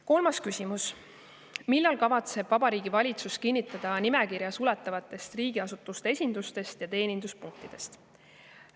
Kolmas küsimus: "Millal kavatseb Vabariigi Valitsus kinnitada nimekirja suletavatest riigiasutuste esindustest ja teeninduspunktidest?